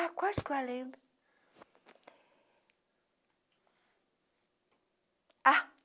Ah, quase que eu lembro.